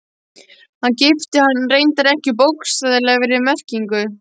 Hann gifti hana reyndar ekki í bókstaflegri merkingu.